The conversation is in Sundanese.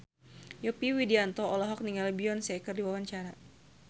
Yovie Widianto olohok ningali Beyonce keur diwawancara